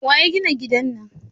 Waya gina gidan nan?